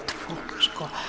fólk